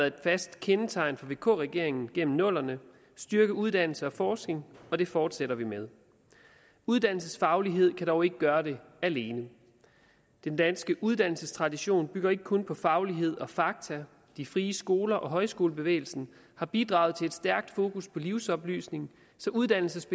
et fast kendetegn for vk regeringen gennem nullerne at styrke uddannelse og forskning og det fortsætter vi med uddannelsesfaglighed kan dog ikke gøre det alene den danske uddannelsestradition bygger ikke kun på faglighed og fakta de frie skoler og højskolebevægelsen har bidraget til et stærkt fokus på livsoplysning så uddannelse